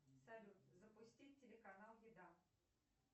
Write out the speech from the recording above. салют запустить телеканал еда